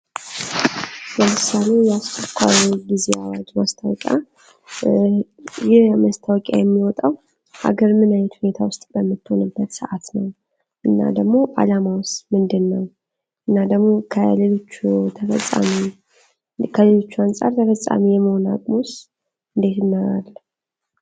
በምሳሉ የተኳሉ ጊዜ አዋጅ ማስታወቂያ ይህ መስታወቂያ የሚወጣው ሀገር ምን አይነት ሁኔታ ውስጥ በምትሆንበት ሰዓት ነው? እናደግሞ አላማውስ ምንድን ነው? እናደግሞ ከሌሎቹ አንፃር ተፈፃሚ የመሆና አሙውስ እንዴት ነው?